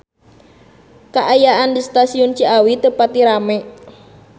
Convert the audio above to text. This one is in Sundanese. Kaayaan di Stasiun Ciawi teu pati rame